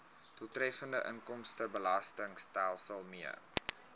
doeltreffende inkomstebelastingstelsel mee